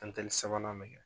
sabanan me kɛ.